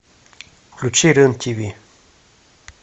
включи рен тв